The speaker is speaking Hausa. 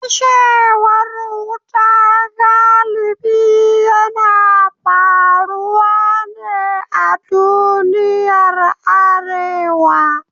Fashewar wuta galibi yana faruwa ne a duniyar Arewa.